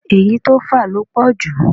Èyí tó fà ló pọ̀jù